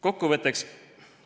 Kokkuvõtteks.